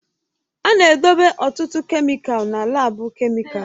A na-edobe ọtụtụ kemịkalụ na laabu kemịkalụ